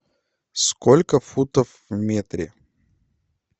сколько футов в метре